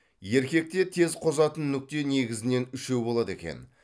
еркекте тез қозатын нүкте негізінен үшеу болады екен